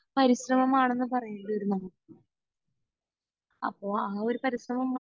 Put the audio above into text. പരിശ്രമം ആണെന്ന് പറയേണ്ടി വരും നമ്മൾ. അപ്പൊ ആ ഒരു പരിശ്രമം